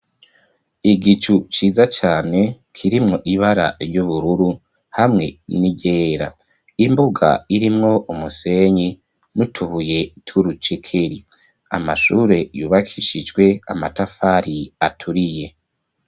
Igicu ciza cane kirimwo ibara ry'ubururu hamwe n'iryera, imbuga irimwo umusenyi n'utubuye tw'urucekeri amashure yubakishijwe amatafari aturiye.